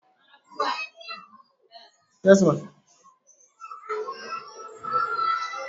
àwọn ijoba muslimu yíò sọ ijoba ṣariya di ohun ti o múlẹ